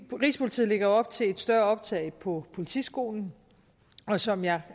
rigspolitiet lægger op til et større optag på politiskolen og som jeg